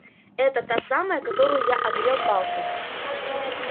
это та самая которую я огрел палкой